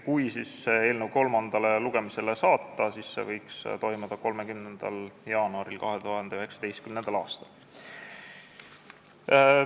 Kui eelnõu saadetakse kolmandale lugemisele, siis see võiks toimuda 30. jaanuaril 2019. aastal.